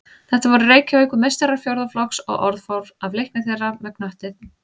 Þetta voru Reykjavíkurmeistarar fjórða flokks og orð fór af leikni þeirra með knöttinn.